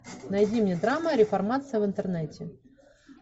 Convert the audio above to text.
найди мне драма реформация в интернете